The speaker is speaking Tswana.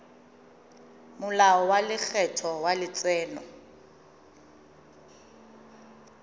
molao wa lekgetho wa letseno